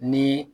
Ni